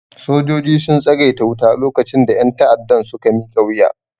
Sojojin sun tsagaita wuta lokacin da ƴan ta'addan suka miƙa wuya